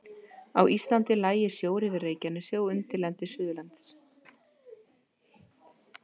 Á Íslandi lægi sjór yfir Reykjanesi og undirlendi Suðurlands.